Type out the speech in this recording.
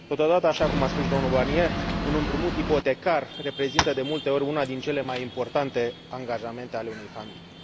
Totodată, așa cum a spus și domnul Barnier, un împrumut ipotecar reprezintă de multe ori unul dintre cele mai importante angajamente ale unei familii.